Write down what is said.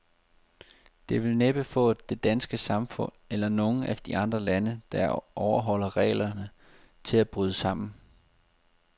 Det vil næppe få det danske samfund, eller nogen af de andre lande, der overholder reglerne, til at bryde sammen.